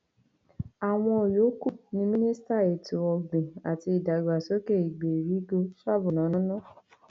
àwọn yòókù ni mínísítà ètò ọgbìn àti ìdàgbàsókè ìgbèríko sábò nanono